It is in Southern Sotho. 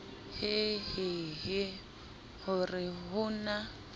hehehe ho re ho na